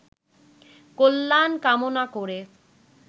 কল্যাণ কামনা করে